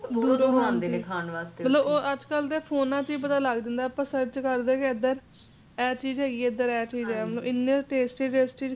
ਅੱਜਕਲ੍ਹ ਤਾਂ phone ਵਿਚ ਹੀ ਪਤਾ ਲੱਗ ਜੰਦਾ ਏ ਅਪਾ search ਕਰਦੇ ਏ ਕਿ ਇਧਰ ਇਹ ਚੀਜ ਹੈਗੀ ਏ ਇਧਰ ਇਹ ਚੀਜ ਹੈਗਾ ਏ ਮਤਲਬ ਇੰਨੇ tasty tasty